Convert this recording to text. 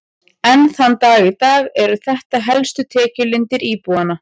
Enn þann dag í dag eru þetta helstu tekjulindir íbúanna.